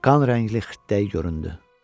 Qan rəngli xirtdəyi göründü.